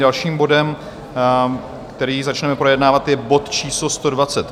Dalším bodem, který začneme projednávat, je bod číslo